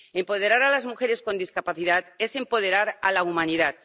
Empoderar a las mujeres con discapacidad es empoderar a la humanidad.